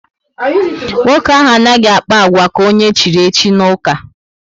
Nwoke ahụ anaghị akpa agwa ka onye echiri echi n'uka